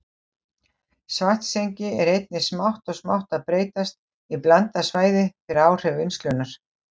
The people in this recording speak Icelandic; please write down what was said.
Svartsengi er einnig smátt og smátt að breytast í blandað svæði fyrir áhrif vinnslunnar.